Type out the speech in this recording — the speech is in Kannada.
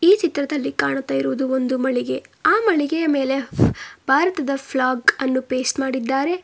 ಈ ಚಿತ್ರದಲ್ಲಿ ಕಾಣುತ್ತಿ ಇರುವುದು ಒಂದು ಮಳೆಗೆ ಆ ಮಳಿಗೆಯ ಮೇಲೆ ಭಾರತದ ಫ್ಲ್ಯಾಗ್ ಅನ್ನು ಪೇಸ್ಟ್ ಮಾಡಿದ್ದಾರೆ.